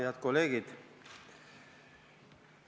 Head kolleegid!